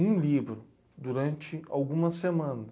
Um livro, durante algumas semanas.